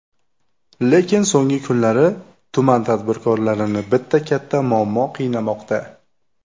Lekin, so‘nggi kunlari tuman tadbirkorlarini bitta katta muammo qiynamoqda.